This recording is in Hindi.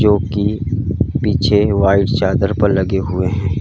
जोकि पीछे वाइट चादर पर लगे हुए हैं।